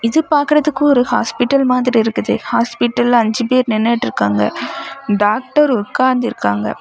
இது பாக்குரதுக்கு ஒரு ஹாஸ்பிட்டல் மாதிரி இருக்குது ஹாஸ்பிட்டல்ல அஞ்சு பேர் நிண்ணுட்டு இருக்காங்க டாக்டர் உக்காந்திருக்காங்க.